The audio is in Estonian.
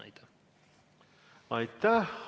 Aitäh!